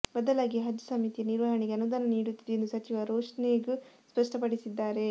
ಬದಲಾಗಿ ಹಜ್ ಸಮಿತಿಯ ನಿರ್ವಹಣೆಗೆ ಅನುದಾನ ನೀಡುತ್ತಿದೆ ಎಂದು ಸಚಿವ ರೋಷನ್ಬೇಗ್ ಸ್ಪಷ್ಟಪಡಿಸಿದ್ದಾರೆ